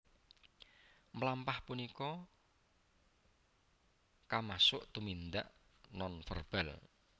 Mlampah punika kamasuk tumindak nonverbal